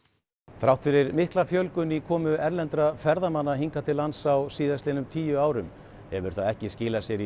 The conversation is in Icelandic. þrátt fyrir mikla fjölgun í komu erlendra ferðamanna hingað til lands á síðastliðnum tíu árum hefur það ekki skilað sér í